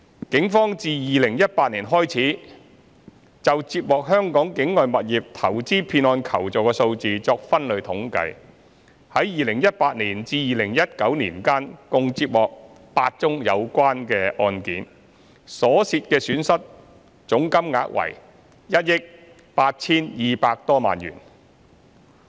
警方自2018年開始就接獲香港境外物業投資騙案求助的數字作分類統計，在2018年至2019年間，共接獲8宗有關案件，所涉損失總金額為1億 8,200 多萬元。